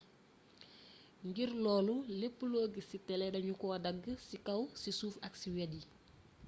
ngir loolu lépp lo giss ci télé dañu ko dagg ci kaw ci suuf ak ci wét yi